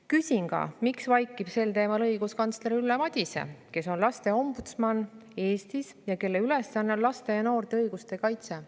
Küsin, miks vaikib sel teemal õiguskantsler Ülle Madise, kes on Eestis lasteombudsman ja kelle ülesanne on laste ja noorte õiguste kaitse.